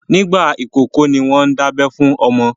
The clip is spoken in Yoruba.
Nígbà ìkókó ní wọ́n ń dábẹ́ fún ọmọ.